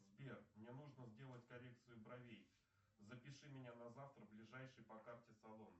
сбер мне нужно сделать коррекцию бровей запиши меня на завтра в ближайший по карте салон